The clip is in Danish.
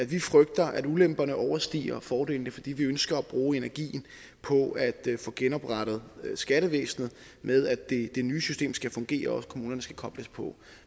vi frygter at ulemperne overstiger fordelene fordi vi ønsker at bruge energien på at få genoprettet skattevæsenet ved at det nye system skal fungere og kommunerne skal kobles på